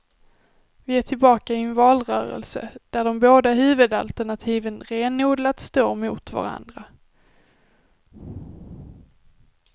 Vi är tillbaka i en valrörelse, där de båda huvudalternativen renodlat står mot varandra.